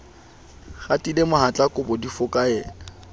qatile mohatla kobo di fokaela